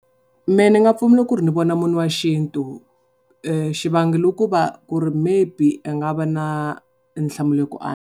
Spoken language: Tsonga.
Mehe ni nga pfumela ku ri ni vona munhu wa xintu xivangelo i ku va ku ri maybe a nga va na nhlamulo ku .